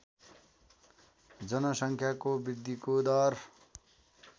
जनसङ्ख्याको वृद्धिको दर